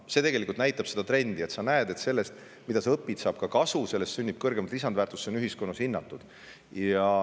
See näitab seda trendi: sa näed, et sellest, mida sa õpid, saab kasu, sellest sünnib kõrgemat lisandväärtust ja see on ühiskonnas hinnatud.